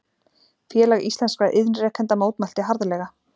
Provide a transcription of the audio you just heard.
Félag íslenskra iðnrekenda mótmælti harðlega